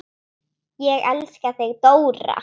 Ég elska þig Dóra.